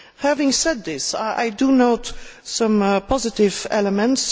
Having said that, I do note some positive elements.